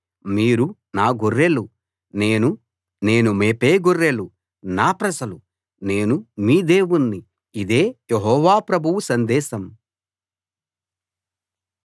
మీరు నా గొర్రెలు నేను మేపే గొర్రెలు నా ప్రజలు నేను మీ దేవుణ్ణి ఇదే యెహోవా ప్రభువు సందేశం